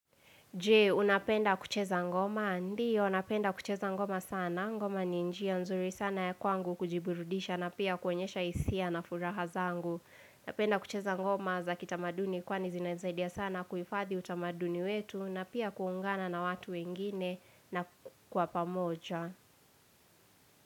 Je, unapenda kucheza ngoma? Ndiyo, unapenda kucheza ngoma sana. Ngoma ni njia nzuri sana ya kwangu kujiburudisha na pia kuonyesha hisia na furaha zangu. Napenda kucheza ngoma za kitamaduni kwani zinanisaidia sana kuhifadhi utamaduni wetu na pia kuungana na watu wengine na kwa pamoja.